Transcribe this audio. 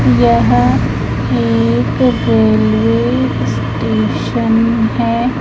यह एक railway station है।